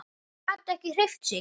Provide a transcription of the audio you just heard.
Gat ekki hreyft sig.